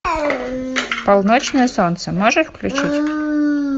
полночное солнце можешь включить